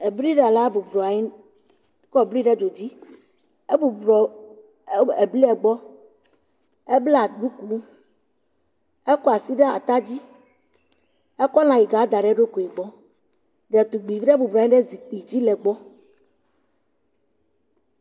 Ebliɖala bɔblɔ anyi kɔ bli ɖe dzodzi. Ebublɔ ebliɛ gbɔ. Eblaa ɖukuu. Ekɔ asi ɖe atadzi. Ekɔ lãyiga da ɖe eɖokui gbɔ. Detugbivi ɖe bɔblɔ anyi ɖe zikpi dzi le egbɔ.